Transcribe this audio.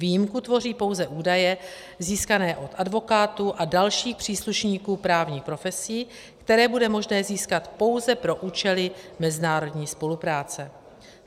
Výjimku tvoří pouze údaje získané od advokátů a dalších příslušníků právních profesí, které bude možné získat pouze pro účely mezinárodní spolupráce.